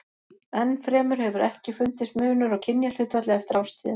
Enn fremur hefur ekki fundist munur á kynjahlutfalli eftir árstíðum.